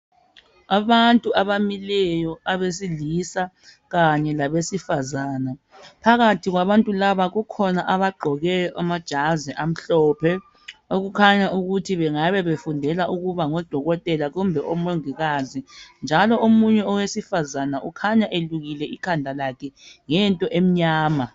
Abantu abamileyo abesilisa kanye labesifazana. Phakathi kwabantu labakukhona abagqoke amajazi amhlophe ,okukhanya ukuthi bengabe befundela ukuba ngodokotela kumbe omongikazi. Njalo omunye owesifazana ukhanya eqiyile ikhanda lakhe ngento emnyama.